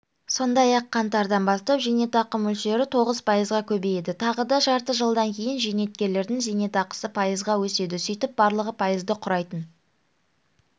сондай-ақ қаңтардан бастап зейнетақы мөлшері тоғыз пайызға көбейеді тағы да жарты жылдан кейін зейнеткерлердің зейнетақысы пайызға өседі сөйтіп барлығы пайызды құрайтын